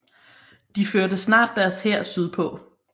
De førte snart deres hær sydpå